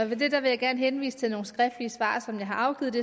det vil jeg gerne henvise til nogle skriftlige svar som jeg har afgivet